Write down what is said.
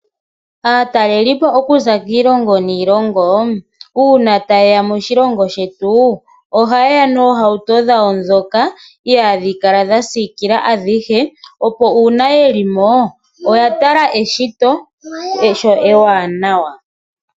Aatalelipo okuza kiilongo niilongo uuna ta yeya moshilongo shetu ohayeya noohauto dhawo ndhoka ihadhi kala dha sikila adhihe opo uuna yelimo oya tala eshito sho ewanawa.